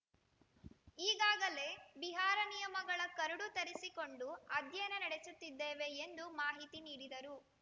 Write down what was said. ಈಗಾಗಲೇ ಬಿಹಾರ ನಿಯಮಗಳ ಕರಡು ತರಿಸಿಕೊಂಡು ಅಧ್ಯಯನ ನಡೆಸುತ್ತಿದ್ದೇವೆ ಎಂದು ಮಾಹಿತಿ ನೀಡಿದರು